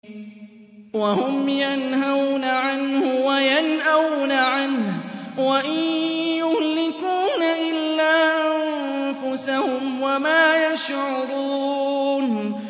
وَهُمْ يَنْهَوْنَ عَنْهُ وَيَنْأَوْنَ عَنْهُ ۖ وَإِن يُهْلِكُونَ إِلَّا أَنفُسَهُمْ وَمَا يَشْعُرُونَ